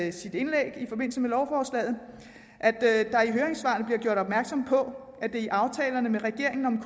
i sit indlæg i forbindelse med lovforslaget at der i høringssvarene bliver gjort opmærksom på at der i aftalerne med regeringen om